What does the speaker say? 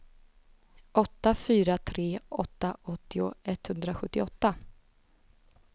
åtta fyra tre åtta åttio etthundrasjuttioåtta